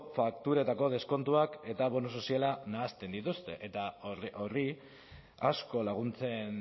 fakturetako deskontuak eta bonu soziala nahasten dituzte eta horri asko laguntzen